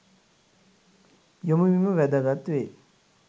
යොමුවීම වැදගත් වේ.